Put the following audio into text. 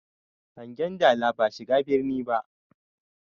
Hangen dala ba shiga birni ba.